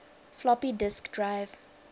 floppy disk drive